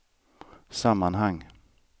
sammanhang